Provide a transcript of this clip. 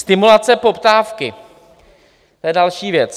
Stimulace poptávky - to je další věc.